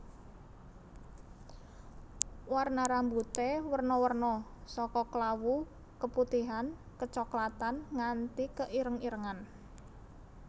Warna rambuté werna werna saka klawu keputihan kecoklatan nganti keireng irengan